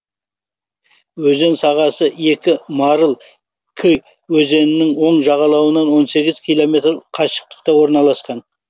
өзен сағасы екі марыль кы өзенінің оң жағалауынан он сегіз километр қашықтықта орналасқан